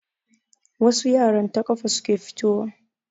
Wasu yaran ta kafa suke fito wa.